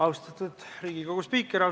Austatud Riigikogu spiiker!